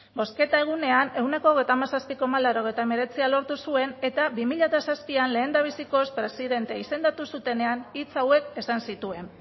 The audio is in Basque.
bozketa egunean ehuneko hogeita hamazazpilaurogeita hemeretzia lortu zuen eta bi mila zazpi lehendabizikoz presidente izendatu zutenean hitz hauek esan zituen